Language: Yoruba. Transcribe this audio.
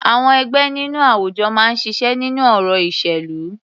Àwọn ẹgbẹ́ nínú àwùjọ máa ń ṣiṣẹ́ nínú ọ̀rọ̀ ìṣèlú.